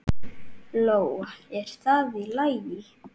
Lóa: Er það í lagi?